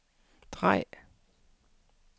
drej